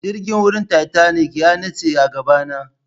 jirgin wuran titanic yanitse agabana